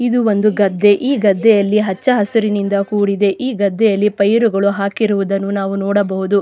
ಇದು ಒಂದು ಗದ್ದೆ ಈ ಗದ್ದೆಯಲ್ಲಿ ಹಚ್ಚ ಹಸುರಿನಿಂದ ಕೂಡಿದೆ ಈ ಗದ್ದೆಯಲ್ಲಿ ಪೈರುಗಳನ್ನು ಹಾಕಿರುವುದನ್ನು ನಾವು ನೋಡಬಹುದು.